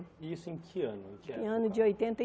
E isso em que ano que ano? Em ano de oitenta e